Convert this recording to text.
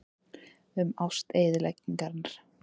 Um ást eyðingarinnar.